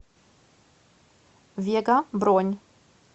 вега бронь